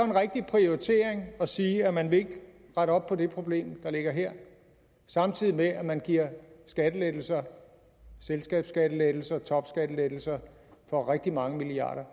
rigtig prioritering at sige at man ikke vil rette op på det problem der ligger her samtidig med at man giver skattelettelser selskabsskattelettelser topskattelettelser for rigtig mange milliarder